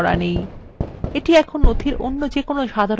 লেখাটি এখন আর হাইপারলিঙ্ক করা নেই